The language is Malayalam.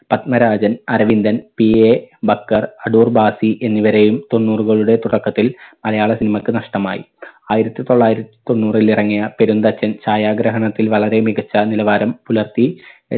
പത്മരാജൻ അരവിന്ദൻ PA ബക്കർ അടൂർ ബാസി എന്നിവരെയും തൊണ്ണൂറുകളുടെ തുടക്കത്തിൽ മലയാള cinema ക്ക് നഷ്ടമായി. ആയിരത്തി തൊള്ളായിരത്തിതൊണ്ണൂറിൽ ഇറങ്ങിയ പെരുന്തച്ചൻ ഛായാഗ്രഹണത്തിൽ വളരെ മികച്ച നിലവാരം പുലർത്തി